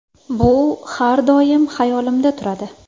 Bu har doim hayolimda turadi.